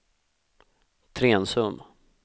Trensum